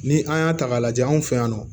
Ni an y'a ta k'a lajɛ anw fɛ yan nɔ